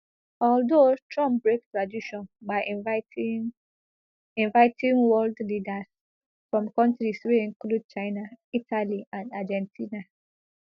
although trump break tradition by inviting inviting world leaders from kontris wey include china italy and argentina